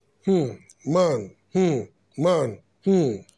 um nan um nan um